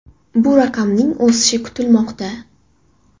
Bu raqamning o‘sishi kutilmoqda.